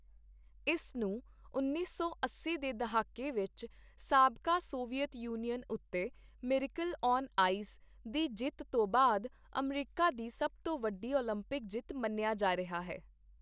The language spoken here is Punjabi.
ਇਸ ਨੂੰ ਉੱਨੀ ਸੌ ਅੱਸੀ ਦੇ ਦਹਾਕੇ ਵਿੱਚ ਸਾਬਕਾ ਸੋਵੀਅਤ ਯੂਨੀਅਨ ਉੱਤੇ 'ਮਿਰਾਕਲ ਔਨ ਆਈਸ' ਦੀ ਜਿੱਤ ਤੋਂ ਬਾਅਦ ਅਮਰੀਕਾ ਦੀ ਸਭ ਤੋਂ ਵੱਡੀ ਓਲੰਪਿਕ ਜਿੱਤ ਮੰਨਿਆ ਜਾ ਰਿਹਾ ਹੈ।